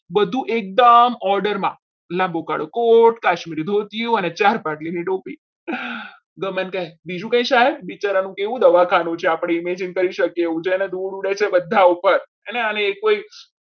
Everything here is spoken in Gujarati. બધું એકદમ order માં લાંબો કાળો કોટ કાશ્મીરી ધોતિયું અને ચાર પાટલીની ધોતી ગમન કહે બીજું કઈ સાહેબ વિચારવાનું કેવું દવાખાનું છે આપણી image જ કરી શકે છે અને ધૂળ ઉડે છે બધે ઉપર અને એ કોઈ